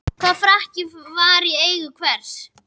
Hvaða frakki var í eigu hvers?